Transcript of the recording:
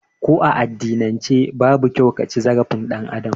Ko a addinan ce babu kyau kaci zarafin ɗan Adam